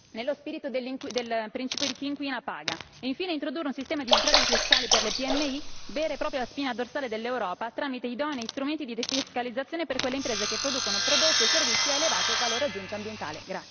nello spirito del principio di chi inquina paga. Infine, l'introduzione di un sistema di sgravi fiscali per le PMI, vera e propria spina dorsale dell'Europa, tramite idonei strumenti di defiscalizzazione per quelle imprese che producono prodotti e servizi a elevato valore aggiunto ambientale.